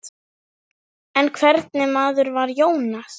En hvernig maður var Jónas?